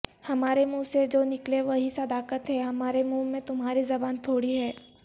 ہمارے منہ سے جو نکلے وہی صداقت ہے ہمارے منہ میں تمہاری زبان تھوڑی ہے